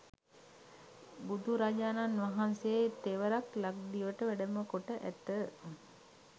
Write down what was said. බුදුරජාණන් වහන්සේ තෙවරක් ලක්දිවට වැඩමකොට ඇත.